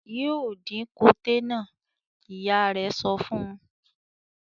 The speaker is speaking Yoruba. "Yóò dín koté náà!" Ìyá rẹ̀ sọ fún un.